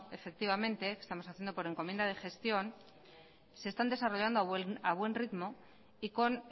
efectivamente estamos haciendo por encomienda de gestión se están desarrollando a buen ritmo y con